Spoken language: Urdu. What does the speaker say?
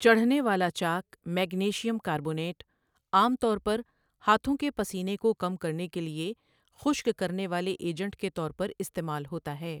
چڑھنے والا چاک میگنیشیم کاربونیٹ عام طور پر ہاتھوں کے پسینے کو کم کرنے کے لیے خشک کرنے والے ایجنٹ کے طور پر استعمال ہوتا ہے